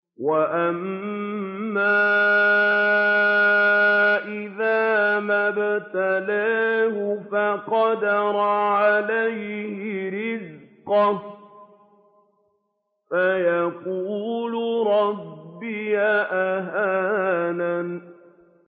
وَأَمَّا إِذَا مَا ابْتَلَاهُ فَقَدَرَ عَلَيْهِ رِزْقَهُ فَيَقُولُ رَبِّي أَهَانَنِ